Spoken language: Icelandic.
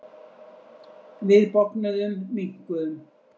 Við bognuðum, minnkuðum.